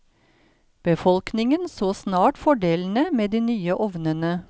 Befolkningen så snart fordelene med de nye ovnene.